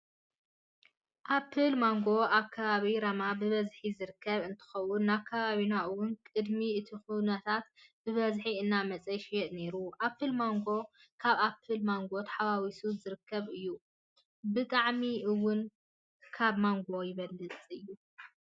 ኣፕል ማንጎ ኣብ ከባቢ ራማ ብበዝሒ ዝርከብ እንትኾውን ናብ ከባቢና እውን ቅድሚ እቲ ኩናት ብበዝሒ እናመፅኣ ይሽየጥ ነይሩ። ኣፕል ማንጎ ካብ ኣፕልን ማንጎ ተሓዋዊሱ ዝርከብ እዩ። ብጣዕሚ እውን ካብ ማንጎ ይበልፅ እዩ።